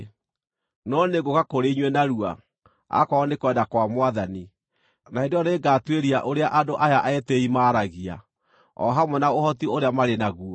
No nĩngũũka kũrĩ inyuĩ narua, akorwo nĩ kwenda kwa Mwathani, na hĩndĩ ĩyo nĩngatuĩria ũrĩa andũ aya etĩĩi maaragia, o hamwe na ũhoti ũrĩa marĩ naguo.